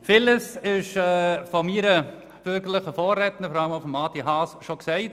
Vieles wurde von meinem bürgerlichen Vorredner Grossrat Haas gesagt.